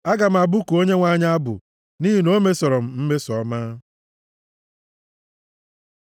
Aga m abụku Onyenwe anyị abụ, nʼihi na o mesoro m mmeso ọma.